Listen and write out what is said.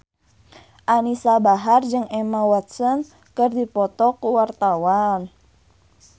Anisa Bahar jeung Emma Watson keur dipoto ku wartawan